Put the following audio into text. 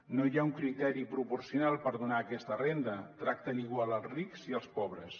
no hi ha un criteri proporcional per donar aquesta renda tracten igual els rics i els pobres